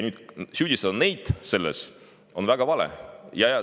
Neid selles süüdistada oleks väga vale.